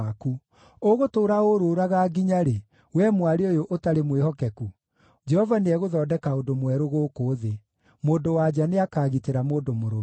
Ũgũtũũra ũrũũraga nginya-rĩ, wee mwarĩ ũyũ ũtarĩ mwĩhokeku? Jehova nĩegũthondeka ũndũ mwerũ gũkũ thĩ: mũndũ-wa-nja nĩakagitĩra mũndũ mũrũme.”